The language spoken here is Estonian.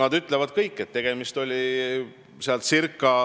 Nad kõik ütlevad, et tegemist oli ca